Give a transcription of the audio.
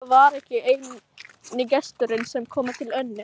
Soffía var ekki eini gesturinn sem kom til Önnu.